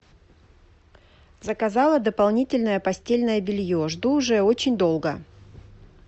заказала дополнительное постельное белье жду уже очень долго